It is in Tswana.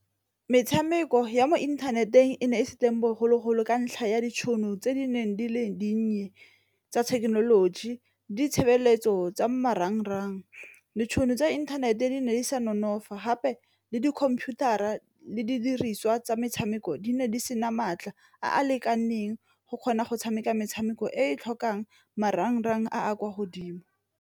Metshameko ya mo inthaneteng e ne e se teng bogologolo ka ntlha ya ditšhono tse di neng di le dinnye tsa thekenoloji, ditshebeletso tsa marangrang. Ditšhono tsa inthanete ne re sa nonofa gape le di-computer-a le didiriswa tsa metshameko di ne di sena maatla a a lekaneng go kgona go tshameka metshameko e e tlhokang marangrang a a kwa godimo.